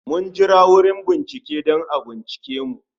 Mun jira wurin bincike, dan a bincika mu